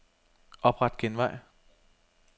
Opret genvej.